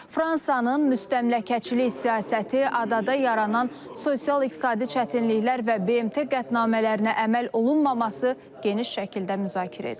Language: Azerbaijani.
Fransanın müstəmləkəçilik siyasəti adada yaranan sosial-iqtisadi çətinliklər və BMT qətnamələrinə əməl olunmaması geniş şəkildə müzakirə edilib.